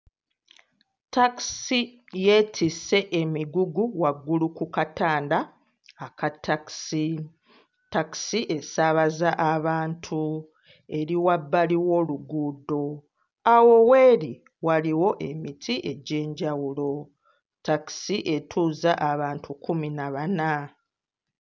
Takisi yeetisse emigugu waggulu ku katanda aka takisi. Takisi esaabaza abantu, eri wabbali w'oluguudo. Awo w'eri waliwo emiti egy'enjawulo. Takisi etuuza abantu kkumi na bana.